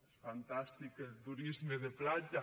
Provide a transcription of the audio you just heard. és fantàstic el turisme de platja